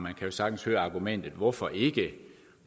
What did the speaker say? jo sagtens høre argumentet hvorfor ikke